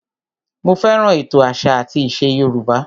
Mo fẹ́ràn ètò àṣà àti ìṣe Yorùbá